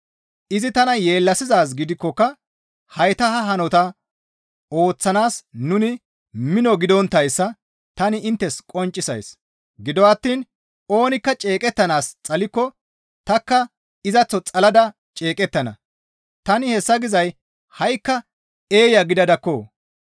Izi tana yeellasizaaz gidikkoka hayta ha hanota ooththanaas nuni mino gidonttayssa tani inttes qonccisays. Gido attiin oonikka ceeqettanaas xalikko tanikka izaththo xalada ceeqettana; tani hessa gizay ha7ikka eeya gidadakko.